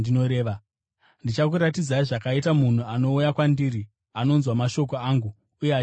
Ndichakuratidzai zvakaita munhu anouya kwandiri anonzwa mashoko angu uye achiaita.